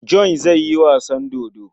John zai yi wasan dodo.